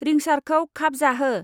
रिंसारखौ खाबजाहो।